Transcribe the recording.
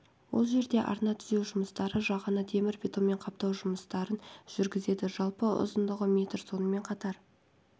ол жерде арна түзеу жұмыстары жағаны темір бетонмен қаптау жұмыстарын жүргізеді жалпы ұзындығы метр сонымен қатар